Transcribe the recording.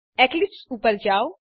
Eclipse ઉપર જાઓ